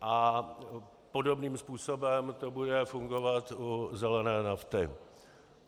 A podobným způsobem to bude fungovat u zelené nafty.